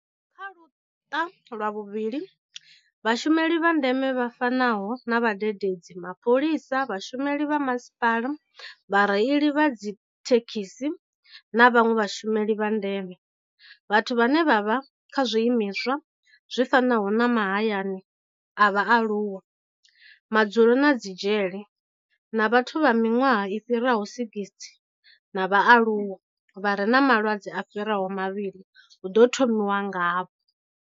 Kha luṱa lwa vhuvhili, vhashumeli vha ndeme vha fanaho na vhadededzi, mapholisa, vhashumeli vha masipala, vhareili vha dzithe khisi na vhanwe vhashumeli vha ndeme, vhathu vhane vha vha kha zwiimiswa zwi fanaho na mahayani a vhaaluwa, madzulo na dzi dzhele, na vhathu vha miṅwaha i fhiraho 60 na vhaaluwa vha re na malwadze a fhiraho mavhili hu ḓo thomiwa ngavho.